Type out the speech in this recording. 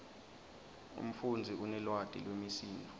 umfundzi unelwati lwemisindvo